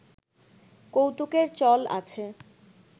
কৌতুকের চল আছে